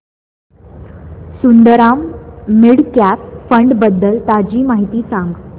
Sundaram mid cap fund बद्दल ताजी माहिती सांग